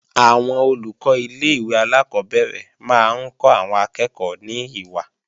Àwọn Olùkọ́ ilé-ìwé alákọ́bẹ̀rẹ̀ máa ń kọ́ àwọn akẹ́ẹ̀kọ́ ní ìwà